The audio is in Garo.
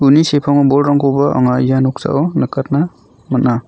uni sepango bolrangkoba anga ia noksao nikatna man·a.